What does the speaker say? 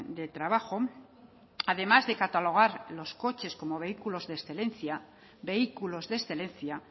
de trabajo además de catalogar los coches como vehículos de excelencia vehículos de excelencia